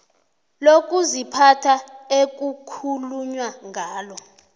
lokuziphatha ekukhulunywa ngalo